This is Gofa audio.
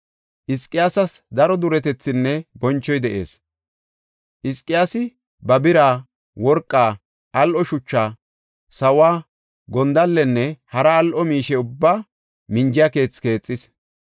Hizqiyaasas daro duretethinne bonchoy de7ees. Hizqiyaasi ba bira, worqaa, al7o shuchaa, sawo, gondallenne hara al7o miishe ubbaa minjiya keethi keexis.